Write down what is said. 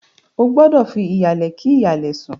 Ó gbúdọ̀ fi ìhàlẹ́ kí hàlẹ̀ sùn.